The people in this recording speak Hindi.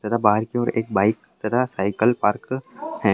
तथा बाहर की ओर एक बाईक तथा साइकिल पार्क हैं।